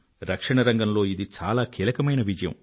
రక్షణ రంగంలో ఇది చాలా కీలకమైన విజయం